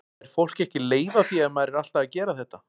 Fær fólk ekki leið á því ef maður er alltaf að gera þetta?